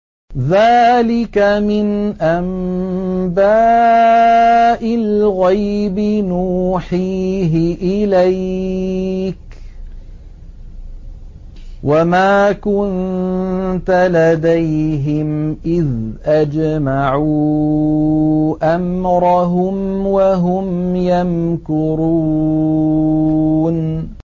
ذَٰلِكَ مِنْ أَنبَاءِ الْغَيْبِ نُوحِيهِ إِلَيْكَ ۖ وَمَا كُنتَ لَدَيْهِمْ إِذْ أَجْمَعُوا أَمْرَهُمْ وَهُمْ يَمْكُرُونَ